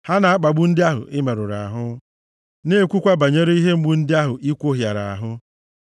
Ha na-akpagbu ndị ahụ i merụrụ ahụ, na-ekwukwa banyere ihe mgbu ndị ahụ i kwohịara ahụ.